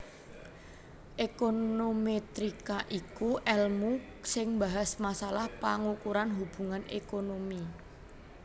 Ékonomètrika iku èlmu sing mbahas masalah pangukuran hubungan ékonomi